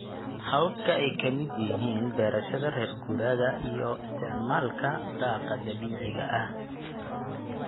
Hababka ay ka midka yihiin beerashada reer guuraaga iyo isticmaalka daaqa dabiiciga ah.